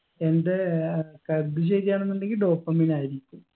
എന്റെ ഏർ കരുത് ശരിയാണെന്നുണ്ടെങ്കി dopamine ആയിരിക്കും